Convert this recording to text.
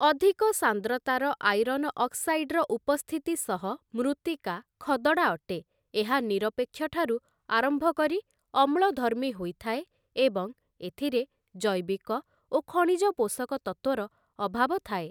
ଅଧିକ ସାନ୍ଦ୍ରତାର ଆଇରନ ଅକ୍ସାଇଡ଼୍‌ର ଉପସ୍ଥିତି ସହ ମୃତ୍ତିକା ଖଦଡ଼ା ଅଟେ ଏହା ନିରପେକ୍ଷ ଠାରୁ ଆରମ୍ଭ କରି ଅମ୍ଲଧର୍ମୀ ହୋଇଥାଏ ଏବଂ ଏଥିରେ ଜୈବିକ ଓ ଖଣିଜ ପୋଷକତତ୍ତ୍ୱର ଅଭାବ ଥାଏ ।